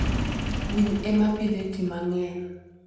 Winy ema pidho ji mang'eny.